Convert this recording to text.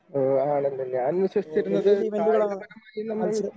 ഓ ആണല്ലേ ഞാൻ വിശ്വസിച്ചിരുന്നത് കായികപരമായി നമ്മൾ